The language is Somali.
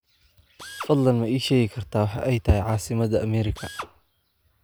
fadlan ma ii sheegi kartaa waxa ay tahay caasimada america